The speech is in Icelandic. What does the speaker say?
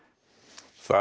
það